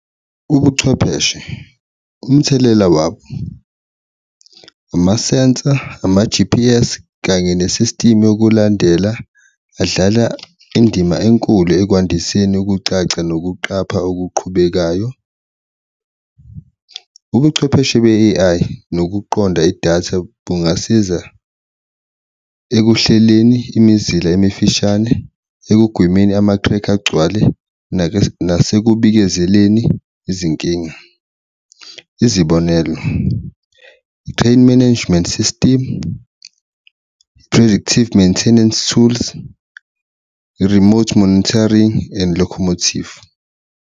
Ubuchwepheshe umthelela wabo, amasensa, ama-G_P_S kanye ne-system yokulandela adlala indima enkulu ekwandiseni ukucaca, nokuqapha okuqhubekayo. Ubuchwepheshe be-A_I nokuqonda idatha bungasiza ekuhleleni imizila emifishane, ekugwemeni ama-track-a agcwale, nasekubikezeleni izinkinga, izibonelo, train management system, i-predictive maintanance tools, i-remote monitoring and locomotive.